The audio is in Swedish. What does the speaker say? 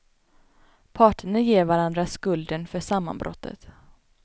Parterna ger varandra skulden för sammanbrottet.